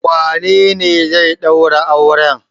Wanene zai ɗaura auren?